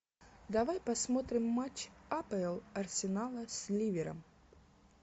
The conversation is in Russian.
давай посмотрим матч апл арсенала с ливером